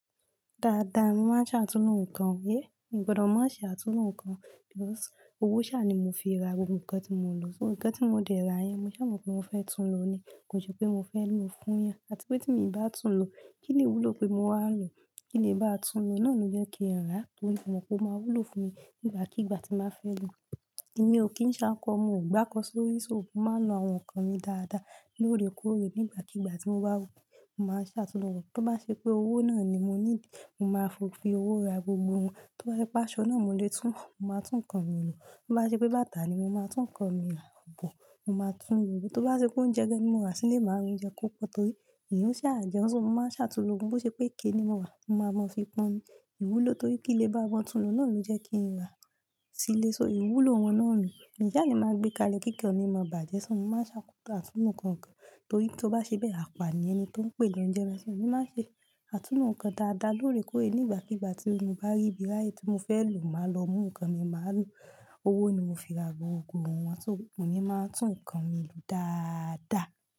Dáadáa, mo máa ń ṣàtúnlo nǹkan. Ẹ́e, n gbọdọ̀ má ṣe àtúnlo nǹkan. Because owó ṣá ni mo fi ra gbogbo nǹkan tí mo ń lò. So nǹkan tí mo dẹ̀ ra yẹn, mo ṣá mo pé mo fẹ́ túnlo ní, kò ṣe pé mo fẹ́ lo fún eyan. Àti pé tí mi bá túnlo, kí ni ìwúlò pé mo wà lò? Kí lè bá túnlo náà lo jẹ́ kí n rà torí mo mọ̀ pé ó máa wúlò fún mi nígbàkigbà tí màá fẹ́ lò ó. Ẹ̀mí ò kí ń ṣákọ, mo gbákọ̀ sórí ṣó, mo máa ń lo àwọn nǹkan mi dáadáa lóore kóòrè nígbàkigbà tí mo bá wù. Mo máa ṣàtúnlo wọn. Tó bá ṣe pé owó náà ni mo ní, ni mo máa fi owó ra gbogbo wọn. Tó bá ṣe pé aṣọ náà mo lè tún, mo máa tún nǹkan mi lò. Tó bá ṣe pé bàtà ni, mo máa tún nǹkan mi rà. Bọ̀, mo máa tún lò ó. Tó bá ṣe pé oúnjẹ gan ni mo rà sílé, màá ra oúnjẹ kó pọ̀ torí èyan ṣà jẹ́ún. So mo máa ṣàtúnlo ohun bó ṣe pé iké ni mo rà, mo máa mọ fi pọn ni ìwúlò torí kí lè bá mọ túnlo náà ló jẹ́ kí n rà sílé. So ìwúlò wọn náà nù. Mi sá le máa ń gbé kalẹ́ kíkan mi ma bàjẹ́, so mo máa ń ṣàtúnlo nǹkan kan torí tó bá ṣe bẹ́ẹ̀, àpá ni ẹni tó ń pè lọ jẹ́ bẹ́ so. Ẹ̀mí máa ń ṣe àtúnlo nǹkan dáadáa lóore kóòrè. Nígbàkigbà tí mo bá rí bí ráyè tí mo fẹ́ lò, màá lọ mú nǹkan mi, màá lò ó. Owó ni mo fi ra gbogbo wọn, so moní máa ń tún nǹkan mi lò dáadáa.